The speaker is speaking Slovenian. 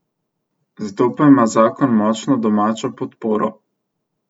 Zato pa ima zakon močno domačo podporo.